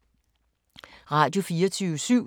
Radio24syv